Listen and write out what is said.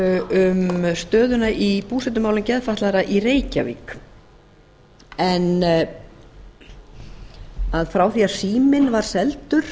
um stöðuna í búsetumálum geðfatlaðra í reykjavík frá því að síminn var seldur